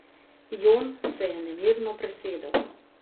Jon se je nemirno presedel.